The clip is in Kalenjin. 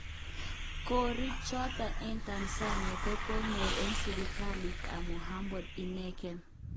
Korik choton eng Tanzania kenyoru en sipitalit tab Muhimbile ineken.